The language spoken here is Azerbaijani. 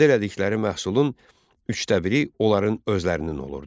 Əldə elədikləri məhsulun üçdə biri onların özlərinin olurdu.